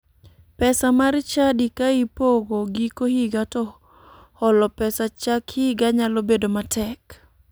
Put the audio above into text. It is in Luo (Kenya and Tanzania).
Pesa mar chadi ka ipogo giko higa to holo pesa chak higa nyalo bedo matek.